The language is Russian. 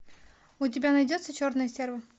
у тебя найдется черная стерва